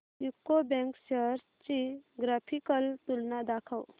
UCO bank shares ची graphical तुलना दाखव